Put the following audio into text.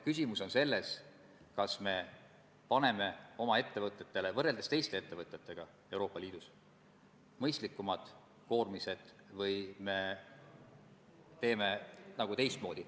Muuseas, raudteeseaduse pikaajalise arendamise käigus ei ole nendega keegi kontakti võtnud, mitte kunagi, ka mitte praegu, kiirustades.